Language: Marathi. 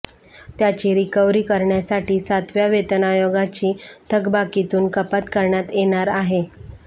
त्याची रिकव्हरी करण्यासाठी सातव्या वेतन आयोगाची थकबाकीतून कपात करण्यात येणार आहे